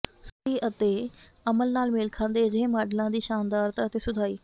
ਸੁਸਤੀ ਅਤੇ ਅਮਲ ਨਾਲ ਮੇਲ ਖਾਂਦੇ ਅਜਿਹੇ ਮਾਡਲਾਂ ਦੀ ਸ਼ਾਨਦਾਰਤਾ ਅਤੇ ਸੁਧਾਈ